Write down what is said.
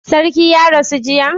Sarki ya rasu jiya?